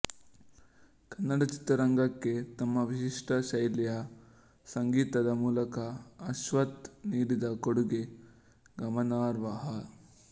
ಕನ್ನಡ ಚಿತ್ರರಂಗಕ್ಕೆ ತಮ್ಮ ವಿಶಿಷ್ಟ ಶೈಲಿಯ ಸಂಗೀತದ ಮೂಲಕ ಅಶ್ವಥ್ ನೀಡಿದ ಕೊಡುಗೆ ಗಮನಾರ್ಹ